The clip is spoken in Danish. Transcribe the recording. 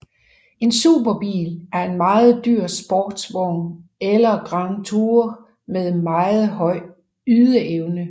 En superbil er en meget dyr sportsvogn eller Grand Tourer med meget høj ydeevne